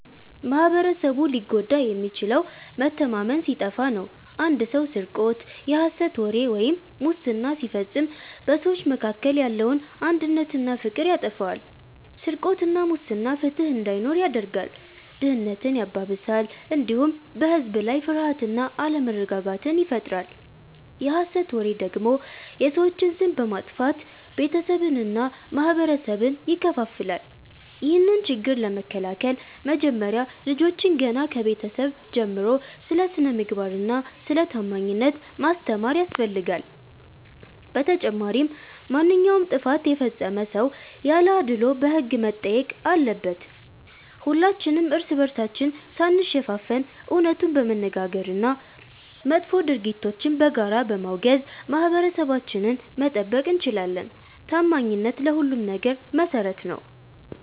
ማኅበረሰቡ ሊጎዳ የሚችለው መተማመን ሲጠፋ ነው። አንድ ሰው ስርቆት፣ የሐሰት ወሬ ወይም ሙስና ሲፈጽም በሰዎች መካከል ያለውን አንድነትና ፍቅር ያጠፋዋል። ስርቆትና ሙስና ፍትሕ እንዳይኖር ያደርጋል፣ ድህነትን ያባብሳል፣ እንዲሁም በሕዝብ ላይ ፍርሃትና አለመረጋጋትን ይፈጥራል። የሐሰት ወሬ ደግሞ የሰዎችን ስም በማጥፋት ቤተሰብንና ማኅበረሰብን ይከፋፍላል። ይህንን ችግር ለመከላከል መጀመሪያ ልጆችን ገና ከቤተሰብ ጀምሮ ስለ ስነ-ምግባርና ስለ ታማኝነት ማስተማር ያስፈልጋል። በተጨማሪም ማንኛውም ጥፋት የፈጸመ ሰው ያለ አድልዎ በሕግ መጠየቅ አለበት። ሁላችንም እርስ በርሳችን ሳንሸፋፈን እውነቱን በመነጋገርና መጥፎ ድርጊቶችን በጋራ በማውገዝ ማኅበረሰባችንን መጠበቅ እንችላለን። ታማኝነት ለሁሉም ነገር መሠረት ነው።